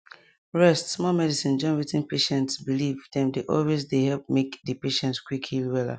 rest small medicine join wetin patient believe dem dey always dey help make make di patient quick heal wella